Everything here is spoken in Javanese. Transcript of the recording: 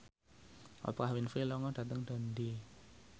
Oprah Winfrey lunga dhateng Dundee